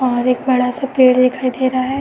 बाहर एक बड़ा सा पेड़ दिखाई दे रहा है।